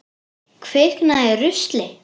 Kviknað í rusli?